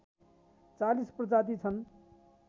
४० प्रजाति छन्